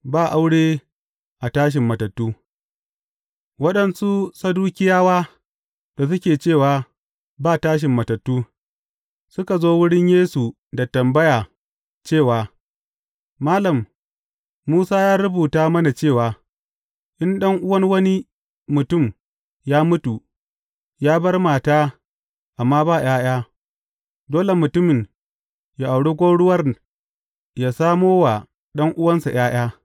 Ba aure a tashin matattu Waɗansu Sadukiyawa da suke cewa, ba tashin matattu, suka zo wurin Yesu da tambaya cewa, Malam, Musa ya rubuta mana cewa, In ɗan’uwan wani mutum ya mutu, ya bar mata amma ba ’ya’ya, dole mutumin ya aure gwauruwar, ya samo wa ɗan’uwansa ’ya’ya.’